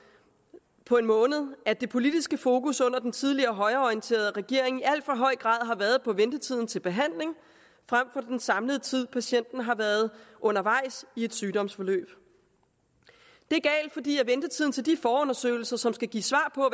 på en måned at det politiske fokus under den tidligere højreorienterede regering i al for høj grad har været på ventetiden til behandling frem for den samlede tid patienten har været undervejs i et sygdomsforløb det er galt fordi ventetiden til de forundersøgelser som skal give svar på